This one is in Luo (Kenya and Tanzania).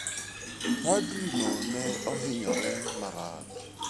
Padrino ne ohinyore marach.